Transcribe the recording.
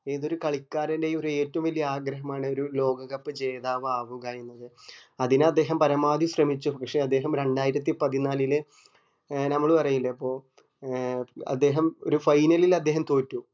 ഏതൊരു കാളികാരെൻറെയും ഏറ്റോ വല്യ ആഗ്രഹമനു ഒരു ലോക cup ജേതാവ് ആവുക എന്നത് അതിനു അദ്ദേഹംപരമാവധി ശ്രമിച്ചു പക്ഷെ അദ്ദേഹം രണ്ടായിരത്തി പതിനാലിലെ ഏർ നമ്മള് പറയീലെ ഇപ്പൊ ഏർ അദ്ദേഹം ഒരു final ൽ അദ്ദേഹം തോറ്റു